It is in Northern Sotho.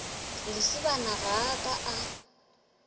lesibana ga a ka a